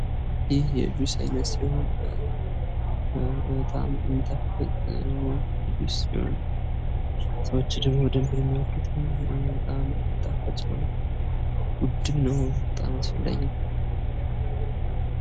ይህ የጁስ አይነት ሲሆን በጣም የሚጣፍጥ ጁስ ሲሆን ሰዎች ደግሞ በጣም የሚወዱት ጣፋጭ የሆነ ተወዳጅ እና ለሰዉ ልጆች በጣም አስፈላጊ ነው ።